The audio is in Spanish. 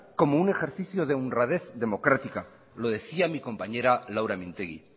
como un ejercicio de honradez democrática lo decía mi compañera laura mintegi